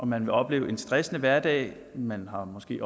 man vil opleve en stressende hverdag og man har måske